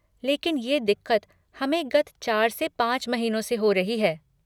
लेकिन ये दिक़्क़त हमें गत चार से पाँच महीनों से हो रही है।